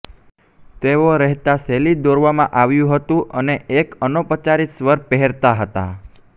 તેઓ રહેતા શૈલી દોરવામાં આવ્યું હતું અને એક અનૌપચારિક સ્વર પહેરતા હતા